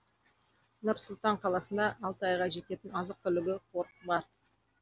нұр сұлтан қаласына алты айға жететін азық түлігі қоры бар